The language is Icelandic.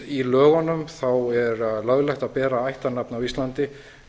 í lögunum er löglegt að bera ættarnafn á íslandi